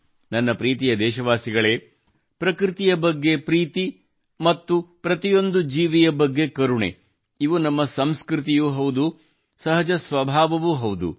ನನ್ನ ಪ್ರೀತಿಯ ದೇಶವಾಸಿಗಳೇ ಪ್ರಕೃತಿಯ ಬಗ್ಗೆ ಪ್ರೀತಿ ಮತ್ತು ಪ್ರತಿಯೊಂದು ಜೀವಿಯ ಬಗ್ಗೆ ಕರುಣೆ ಇವು ನಮ್ಮ ಸಂಸ್ಕೃತಿಯೂ ಹೌದು ಸಹಜ ಸ್ವಭಾವವೂ ಹೌದು